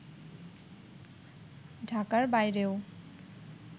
ঢাকার বাইরেও